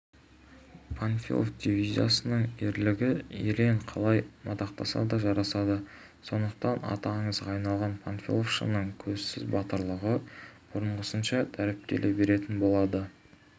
панфилов дивизиясының ерлігі ерен қалай мадақтаса да жарасады сондықтан аты аңызға айналған панфиловшының көзсіз батырлығы бұрынғысынша дәріптеле беретін болады